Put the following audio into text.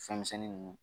Fɛnmisɛnnin ninnu